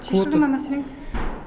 шешіле ма мәселеңіз